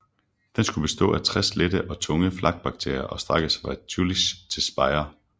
Den skulle bestå af 60 lette og tunge flakbatterier og strække sig fra Jülich til Speyer